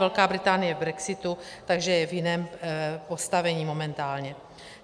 Velká Británie je v brexitu, takže je v jiném postavení momentálně.